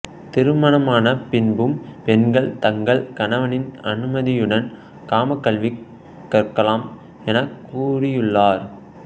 திருமணமான பின்பும் பெண்கள் தங்கள் கணவனின் அனுமதியுடன் காமக்கல்வி கற்கலாம் எனக்கூறியுள்ளார்